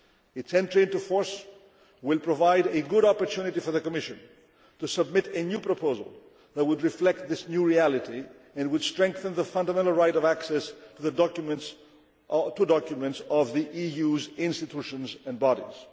Union. Its entry into force will provide a good opportunity for the Commission to submit a new proposal that would reflect this new reality and would strengthen the fundamental right of access to documents of the EU's institutions and bodies.